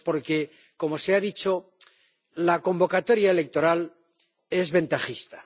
Pues porque, como se ha dicho, la convocatoria electoral es ventajista